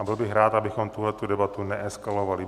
A byl bych rád, abychom tuhle debatu neeskaovali.